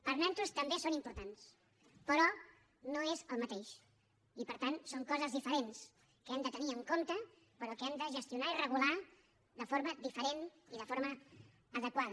per nosaltres també són importants però no és el mateix i per tant són coses diferents que hem de tenir en compte però que hem de gestionar i regular de forma diferent i de forma adequada